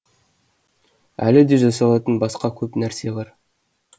әлі де жасалатын басқа көп нәрсе бар